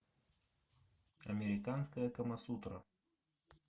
американская камасутра